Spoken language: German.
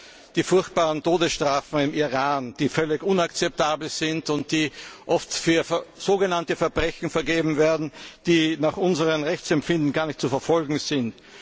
über die furchtbaren Todesstrafen im Iran, die völlig inakzeptabel sind und die oft für sogenannte Verbrechen verhängt werden, die nach unserem Rechtsempfinden gar nicht zu verfolgen sind.